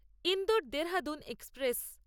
Indore Dehradun express